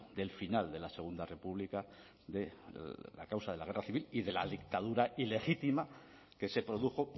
del final de la segundo república de la causa de la guerra civil y de la dictadura ilegítima que se produjo